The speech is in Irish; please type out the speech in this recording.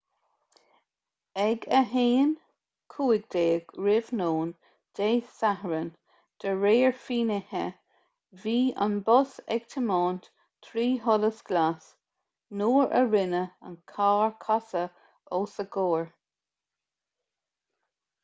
ag 1:15 r.n. dé sathairn de réir finnéithe bhí an bus ag tiomáint trí sholas glas nuair a rinne an carr casadh os a chomhair